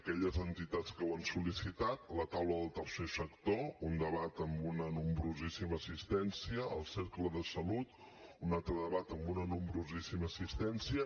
aquelles entitats que ho han sol·licitat la taula del tercer sector un debat amb una nombrosíssima assistència el cercle de salut un altre debat amb una nombrosíssima assistència